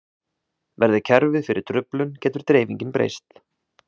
Verði kerfið fyrir truflun getur dreifingin breyst.